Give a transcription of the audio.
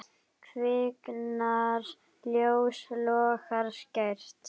Kviknar ljós, logar skært.